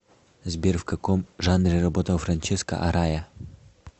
сбер в каком жанре работал франческо арая